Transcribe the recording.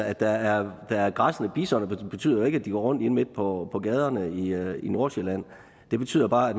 at der er er græssende bison betyder jo ikke at de går rundt inde midt på på gaderne i nordsjælland det betyder bare at